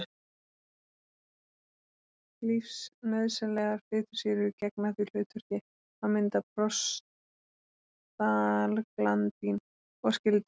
Lífsnauðsynlegar fitusýrur gegna því hlutverki að mynda prostaglandín og skyld efni.